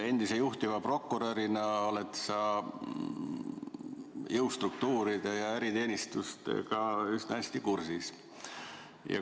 Endise juhtiva prokurörina oled sa jõustruktuuride ja eriteenistustega üsna hästi kursis.